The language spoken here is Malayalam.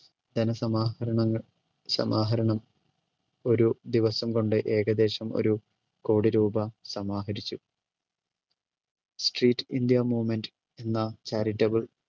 ധനസമാഹരണങ്ങൾ സമാഹരണം ഒരു ദിവസം കൊണ്ട് ഏകദേശം ഒരു കോടി രൂപ സമാഹരിച്ചു. സ്ട്രീറ്റ് ഇന്ത്യ മൂവ്മെൻറ് എന്ന charitable